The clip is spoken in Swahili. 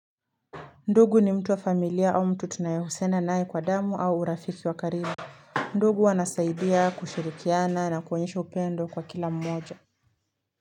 Ndugu ni mtu wa familia au mtu tunayehusiana naye kwa damu au urafiki wakaribu. Ndugu wanasaidia kushirikiana na kuonyesha upendo kwa kila mmoja.